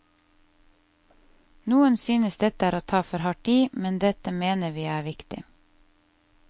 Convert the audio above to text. Noen synes dette er å ta for hardt i, men dette mener vi er viktig.